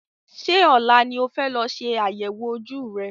Ṣé ọ̀la ni o fẹ́ lọ ṣe àyẹ̀wò ojú rẹ?